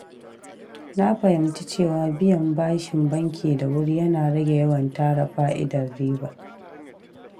Na fahimci cewa biyan bashin banki da wuri yana rage yawan tara fa’idar riba.